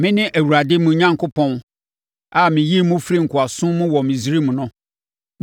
“Mene Awurade, mo Onyankopɔn a meyii mo firii nkoasom mu wɔ Misraim no.